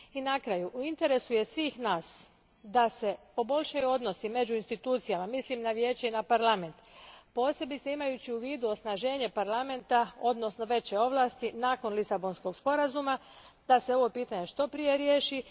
I na kraju, u interesu je svih nas da se poboljšaju odnosi među institucijama, mislim na Vijeće i na Parlament, posebno imajući u vidu osnaženje Parlamenta odnosno veće ovlasti nakon Lisabonskog sporazuma, da se ovo pitanje što prije riješi.